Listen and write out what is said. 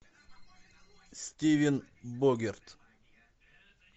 стивен богерт